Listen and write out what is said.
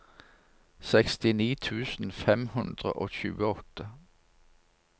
sekstini tusen fem hundre og tjueåtte